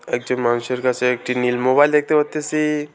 একজন মানুষের কাসে একটি নীল মোবাইল দেখতে পারতেসি।